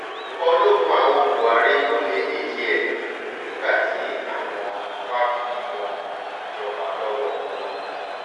ìjọba ológun àwọn buhari ló lé e nídìí ẹ̀ nígbà tí àwọn wàá fìbọn gbàjọba lọ́wọ́ wọn